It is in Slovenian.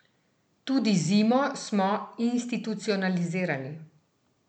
Tudi zimo smo institucionalizirali!